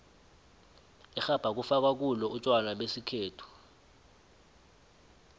irhabha kufakwa kulo utjwala besikhethu